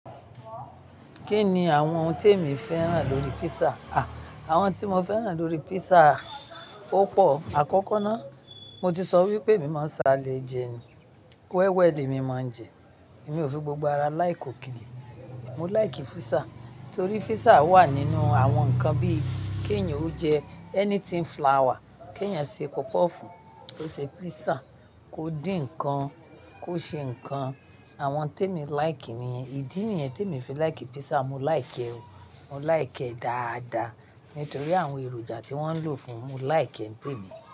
Kí ni àwọn ohun tí èmi fẹ́ràn lórí pizza? À, àwọn tí mo fẹ́ràn lórí pizza o pọ̀. Àkọ́kọ́ ná, mo ti sọ wípé emi máa ń salé jẹ ni, wẹ́wẹ́ lè mi máa ń jẹ. Mi ò fi gbogbo ara like òkèlè. Mo like pizza, torí pizza wà nínú àwọn nǹkan bí i kí èeyàn ó jẹ anything flour, kí èeyan ṣe puff puff, kó ṣe pizza, kó dín ǹnkan, kó ṣe ǹnkan. Àwọn té mi like nìyẹn. Ìdí niyẹn té mi fi like pizza, mo like ẹ́ o, mo like ẹ́ dáadáa. Nítorí àwọn èròjà tí wọ́n ń lò fún un, mo like ẹ́ ni temi.